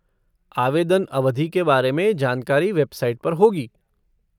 आवेदन अवधि के बारे में जानकारी वेबसाइट पर होगी।